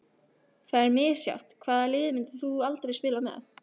Það er misjafnt Hvaða liði myndir þú aldrei spila með?